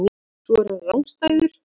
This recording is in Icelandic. Svo er hann rangstæður.